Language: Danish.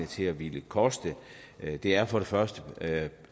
til at ville koste det er for det første